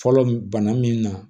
Fɔlɔ bana min na